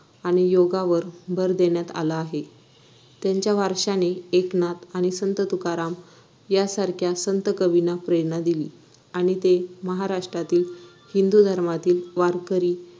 आणि योगावर भर देण्यात आला आहे त्यांच्या वारशाने एकनाथ आणि संत तुकाराम यांसारख्या संत कवींना प्रेरणा दिली आणि ते महाराष्ट्रातील हिंदू धर्मातील वारकरी